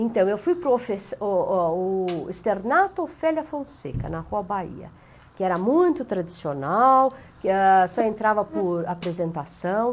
Então, eu fui para o externato Ofélia Fonseca, na Rua Bahia, que era muito tradicional, só entrava por apresentação.